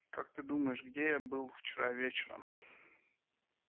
как ты думаешь где я был вчера вечером